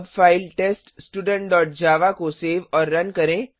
अब फाइल teststudentजावा को सेव और रन करें